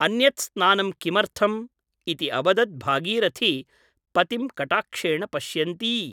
अन्यत् स्नानं किमर्थम् ? इति अवदत् भागीरथी पतिं कटाक्षेण पश्यन्ती ।